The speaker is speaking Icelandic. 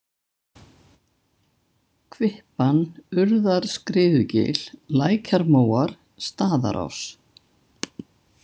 Kvippan, Urðarskriðugil, Lækjarmóar, Staðarás